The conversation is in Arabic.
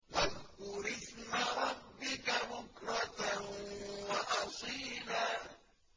وَاذْكُرِ اسْمَ رَبِّكَ بُكْرَةً وَأَصِيلًا